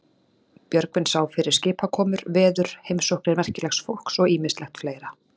Björgvin sá fyrir skipakomur, veður, heimsóknir merki- legs fólks og ýmislegt fleira.